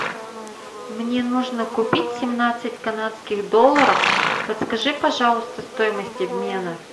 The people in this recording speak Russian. мне нужно купить семнадцать канадских долларов подскажи пожалуйста стоимость обмена